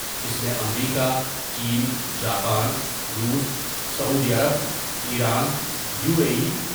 اس میں امریکہ ، چین ، جاپان ، روس ، سعودی عرب ، ایران ، یو اے ای۔